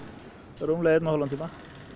rúmlega einn og hálfan tíma